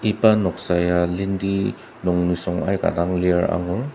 iba noksa ya lendi nung nisung aika dang lir angur.